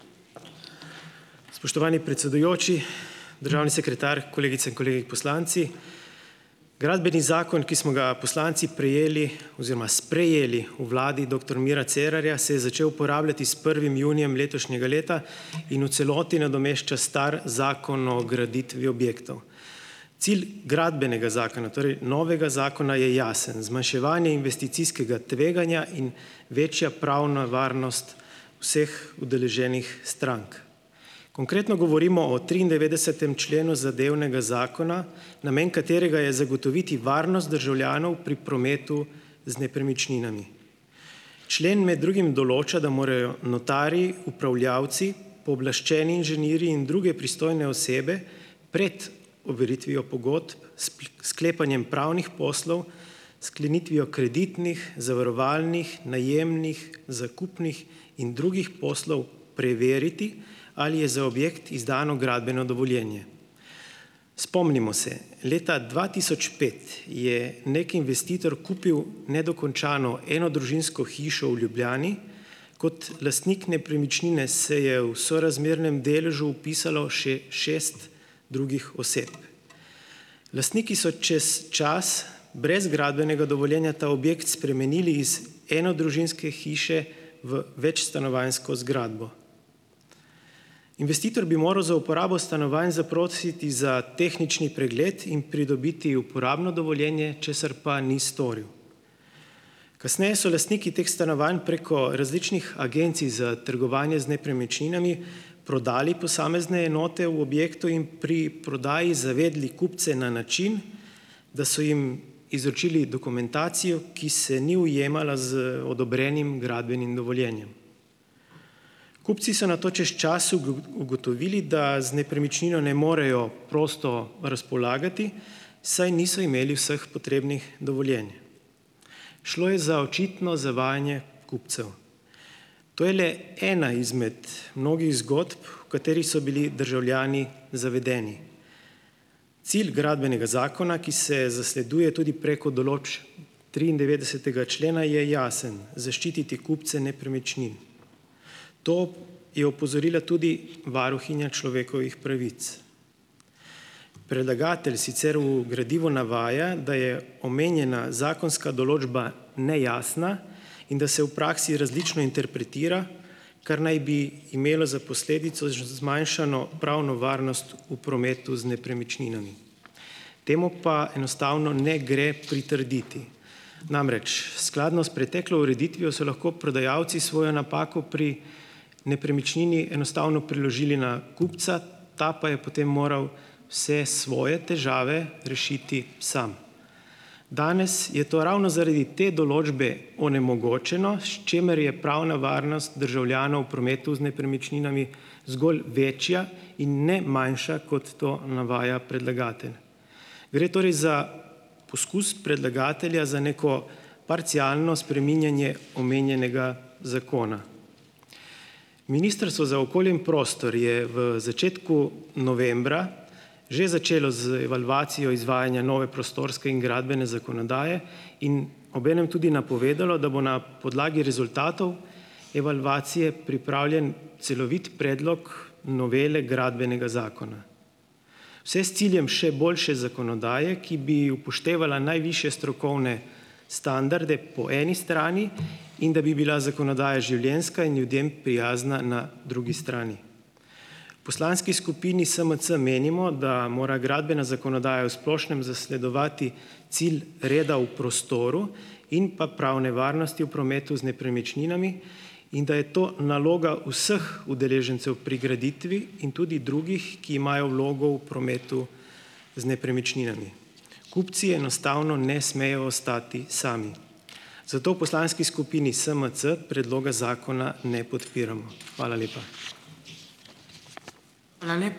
Spoštovani predsedujoči, državni sekretar, kolegice in kolegi poslanci! Gradbeni zakon, ki smo ga poslanci prejeli oziroma sprejeli v vladi doktor Mira Cerarja, se je začel uporabljati s prvim junijem letošnjega leta in v celoti nadomešča stari Zakon o graditvi objektov. Cilj gradbenega zakona, torej novega zakona, je jasen. Zmanjševanje investicijskega tveganja in večja pravna varnost vseh udeleženih strank. Konkretno govorimo o triindevetdesetem členu zadevnega zakona, namen katerega je zagotoviti varnost državljanov pri prometu z nepremičninami. Člen med drugim določa, da morajo notarji, upravljavci, pooblaščeni inženirji in druge pristojne osebe pred overitvijo pogodb s sklepanjem pravnih poslov, s sklenitvijo kreditnih, zavarovalnih, najemnih, zakupnih in drugih poslov preveriti, ali je za objekt izdano gradbeno dovoljenje. Spomnimo se, leta dva tisoč pet je neki investitor kupil nedokončano enodružinsko hišo v Ljubljani, kot lastnik nepremičnine se je v sorazmernem deležu vpisalo še šest drugih oseb. Lastniki so čez čas brez gradbenega dovoljenja ta objekt spremenili iz enodružinske hiše v večstanovanjsko zgradbo. Investitor bi moral za uporabo stanovanj zaprositi za tehnični pregled in pridobiti uporabno dovoljenje, česar pa ni storil. Kasneje so lastniki teh stanovanj preko različnih agencij za trgovanje z nepremičninami prodali posamezne enote v objektu in pri prodaji zavedli kupce na način, da so jim izročili dokumentacijo, ki se ni ujemala z odobrenim gradbenim dovoljenjem. Kupci so nato čez čas ugotovili, da z nepremičnino ne morejo prosto razpolagati, saj niso imeli vseh potrebnih dovoljenj. Šlo je za očitno zavajanje kupcev. To je le ena izmed mnogih zgodb, v katerih so bili državljani zavedeni. Cilj Gradbenega zakona, ki se zasleduje tudi preko določb triindevetdesetega člena je jasen, zaščititi kupce nepremičnin. To je opozorila tudi varuhinja človekovih pravic. Predlagatelj sicer v gradivu navaja, da je omenjena zakonska določba nejasna in da se v praksi različno interpretira, kar naj bi imelo za posledico zmanjšano pravno varnost v prometu z nepremičninami. Temu pa enostavno ne gre pritrditi. Namreč, skladno s preteklo ureditvijo so lahko prodajalci svojo napako pri nepremičnini enostavno preložili na kupca, ta pa je potem moral se svoje težave rešiti sam. Danes je to ravno zaradi te določbe onemogočeno, s čimer je pravna varnost državljanov v prometu z nepremičninami zgolj večja in ne manjša, kot to navaja predlagatelj. Gre torej za poskus predlagatelja za neko parcialno spreminjanje omenjenega zakona. Ministrstvo za okolje in prostor je v začetku novembra že začelo z evalvacijo izvajanja nove prostorske in gradbene zakonodaje in obenem tudi napovedalo, da bo na podlagi rezultatov evalvacije pripravljen celovit predlog novele Gradbenega zakona. Vse s ciljem še boljše zakonodaje, ki bi upoštevala najvišje strokovne standarde po eni strani, in da bi bila zakonodaja življenjska in ljudem prijazna na drugi strani. Poslanski skupini SMC menimo, da mora gradbena zakonodaja v splošnem zasledovati cilj reda v prostoru in pa pravne varnosti v prometu z nepremičninami in da je to naloga vseh udeležencev pri graditvi in tudi drugih, ki imajo vlogo v prometu z nepremičninami. Kupci enostavno ne smejo ostati sami. Zato u poslanski skupini SMC predloga zakona ne podpiramo. Hvala lepa.